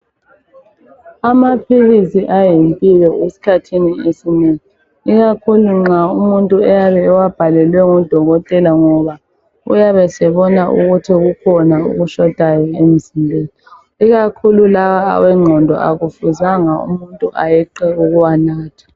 Amaphilisi ayimpilo esikhathini esinengi ikakhulu nxa umuntu eyabe ewabhalelwe ngudokotela ngoba uyabe esebona ukuthi kukhona okushotayo emzimbeni ikakhulu lawa awengqondo akufuzanga umuntu ayeqe ukuwanatha.